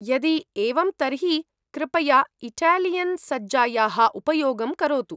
यदि एवं तर्हि कृपया इटैलियन् सज्जायाः उपयोगं करोतु।